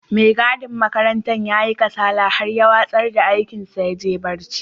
Mai gadin makarantar ya yi kasala har ya watsar da aikin sa ya je barci.